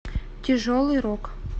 тяжелый рок